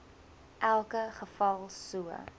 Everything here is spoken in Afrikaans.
elke geval so